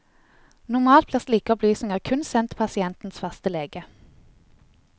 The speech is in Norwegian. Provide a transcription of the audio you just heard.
Normalt blir slike opplysninger kun sendt pasientens faste lege.